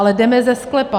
Ale jdeme ze sklepa.